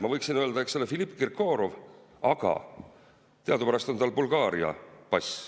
Ma võiksin öelda, eks ole, Filipp Kirkorov, aga teadupärast on tal Bulgaaria pass.